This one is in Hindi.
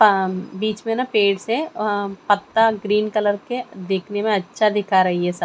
पाम बीच में ना पेड़ से अम पत्ता ग्रीन कलर के दिखने में अच्छा दिखाई रहे हैं स--